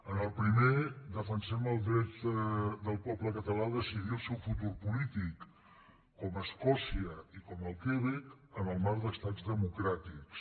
en el primer defensem el dret del poble català a decidir el seu futur polític com escòcia i com el quebec en el marc d’estats democràtics